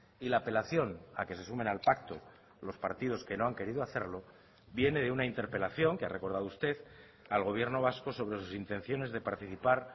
y la apelación a que se sumen al pacto los partidos que no han querido hacerlo viene de una interpelación que ha recordado usted al gobierno vasco sobre sus intenciones de participar